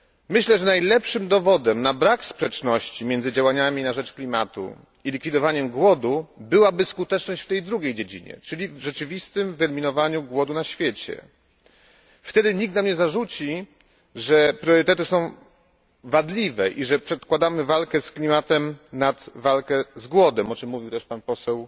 Myślę, że najlepszym dowodem na brak sprzeczności między działaniami na rzecz klimatu a likwidowaniem głodu byłaby skuteczność w tej drugiej dziedzinie, czyli w rzeczywistym wyeliminowaniu głodu na świecie. Wtedy nikt by nam nie zarzucił, że priorytety są wadliwe i że przedkładamy walkę z klimatem nad walkę z głodem, o czym mówił też pan poseł